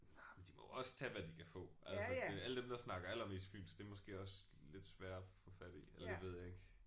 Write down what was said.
Nej men de må jo også tage hvad de kan få altså det alle dem der snakker allermest fynsk det er måske også lidt sværere at få fat i. Eller det ved jeg ikke